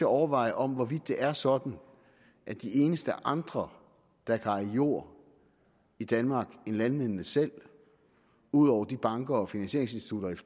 overveje om det er sådan at de eneste andre der kan eje jord i danmark end landmændene selv udover de banker og finansieringsinstitutter